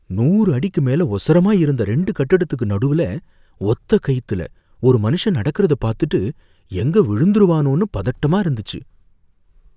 நூறு அடிக்கு மேல ஒசரமா இருந்த ரெண்டு கட்டத்துக்கு நடுவுல, ஒத்தக்கயித்துல ஒரு மனுஷன் நடக்கிறத பார்த்துட்டு, எங்க விழுந்துருவானோனு பதட்டமா இருந்துச்சு.